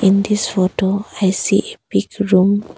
In this photo I see a big room.